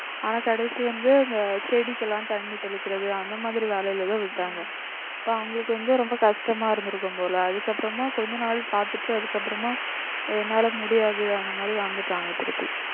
ஆனா கடைசி வந்து அந்த செடிக்கெல்லாம் தண்ணி தெளிக்கிறது அந்த மாதிரி வேலையிலதான் விட்டாங்க இப்ப அவங்களுக்கு வந்து ரொம்ப கஷ்டமா இருந்திருக்கும் போல அதுக்கப்புறமா கொஞ்ச நாள் பார்த்துட்டு அதுக்கப்புறமா என்னால முடியாது அந்த மாதிரி வந்துட்டாங்க திருப்பி